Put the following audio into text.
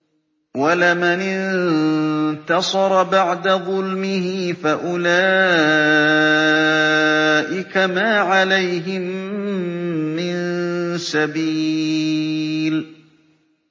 وَلَمَنِ انتَصَرَ بَعْدَ ظُلْمِهِ فَأُولَٰئِكَ مَا عَلَيْهِم مِّن سَبِيلٍ